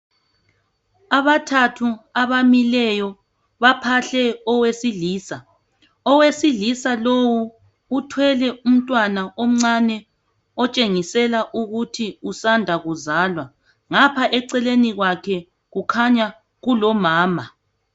Abathathu abamileyo baphahle owesilisa, owesilisa lowu uthwele umntwana omncane otshengisela ukuthi usanda kuzalwa ngapha eceleni kwakhe kukhanya kulomama.